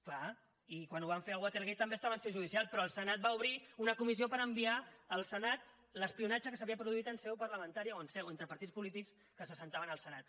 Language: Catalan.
clar i quan ho van fer al watergate també estava en seu judicial però el senat va obrir una comissió per enviar al senat l’espionatge que s’havia produït en seu parlamentaria o entre partits polítics que s’asseien al senat